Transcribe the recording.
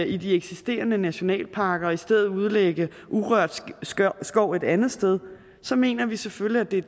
i de eksisterende nationalparker og i stedet udlægge urørt skov et andet sted mener vi selvfølgelig at det er